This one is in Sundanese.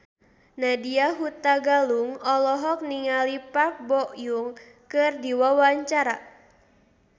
Nadya Hutagalung olohok ningali Park Bo Yung keur diwawancara